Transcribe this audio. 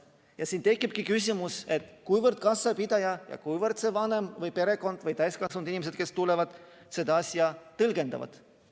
Ja siin tekibki küsimus, kuidas kassapidaja ja kuidas see vanem või perekond või täiskasvanud inimesed, kes tulevad, seda asja tõlgendavad.